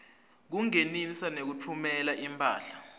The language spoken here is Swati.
kungenisa nekutfumela imphahla